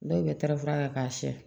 Dɔw bɛ taara fura kɛ k'a siyɛ